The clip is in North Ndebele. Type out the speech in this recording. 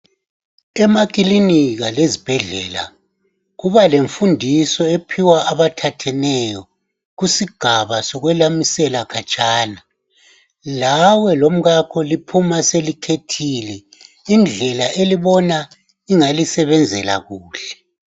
Emakilinika lasezibhedlela kuba lemfundiso ephiwa abathetheneyo kusigaba sokwelamisela khatshana. Lawe lomkakho liphuma selikhethile indlelà engalisebenzela kuhle.